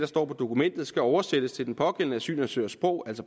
står i dokumentet skal oversættes til den den asylansøgers sprog